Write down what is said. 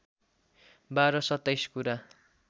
बाह्र सत्ताइस कुरा